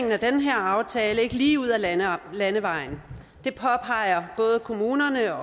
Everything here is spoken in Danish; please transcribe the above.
af den her aftale ikke er lige ud ad landevejen det påpeger både kommunerne